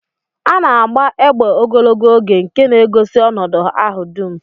A na-agba egbe ogologo oge nke na-egosi ọnọdụ ahụ dum.